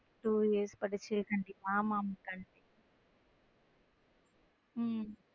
Two years படிச்சு இருக்கீங்க ஆமாம்மா கண்டிப்ப உம்